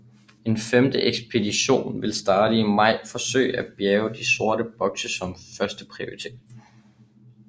En femte ekspedition vil i starten af maj forsøge at bjærge de sorte bokse som første prioritet